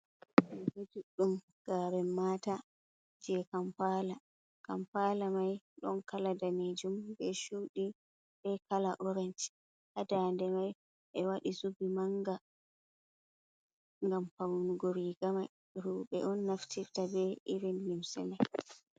Riga juɗɗum garen mata je kampala, kampala mai ɗon kala danejum be shuɗi, be kala orenj hadande mai, ɓe waɗi zubi manga ngam faunugo rigamai roɓe on naftirta be irin limse mai.